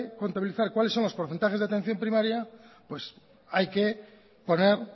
contabilizar cuáles son los porcentajes de atención primaria hay que poner